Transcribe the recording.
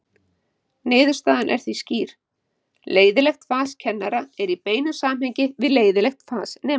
Niðurstaðan er því skýr: Leiðinlegt fas kennara er í beinu samhengi við leiðinlegt fas nemenda.